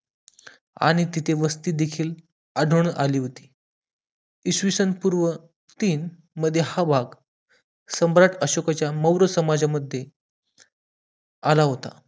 आणि तिथे वस्ती देखील आढळून आली होती इसवी सन पूर्व तीन मध्ये हवा सम्राट अशोकाच्या मौर्य समाजामध्ये आला होता